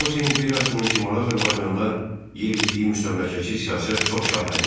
Rusiya imperiyasının Şimali Azərbaycanda yeritdiyi müstəmləkəçi siyasət çoxşaxəli idi.